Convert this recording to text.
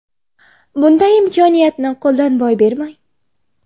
Bunday imkoniyatni qo‘ldan boy bermang!